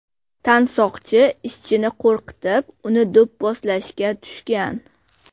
Tansoqchi ishchini qo‘rqitib, uni do‘pposlashga tushgan.